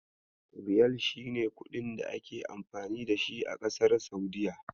Riyal shi ne kuɗin da ake amfani dashi a kasar Saudiyya.